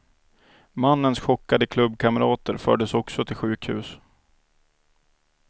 Mannens chockade klubbkamrater fördes också till sjukhus.